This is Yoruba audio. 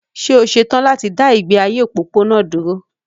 Ṣé o ṣe tán láti dá ìgbé ayé òpópónà dúró?